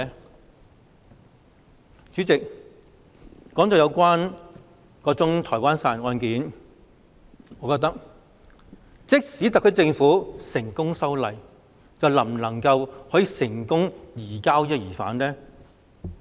代理主席，談到該宗台灣殺人案，即使特區政府成功修例，是否就能成功移交疑犯？